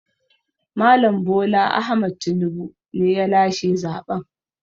Mal. Bola Ahmaed Tinibu ne ya lashe zaɓen.